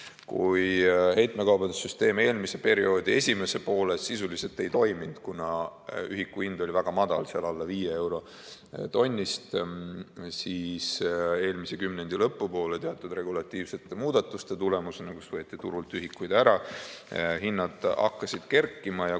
Kui heitmekaubanduse süsteem eelmise perioodi esimesel poolel sisuliselt ei toiminud, kuna ühiku hind oli väga madal, seal alla 5 euro tonnist, siis eelmise kümnendi lõpu poole teatud regulatiivsete muudatuste tulemusena, kus võeti turult ühikuid ära, hinnad hakkasid kerkima.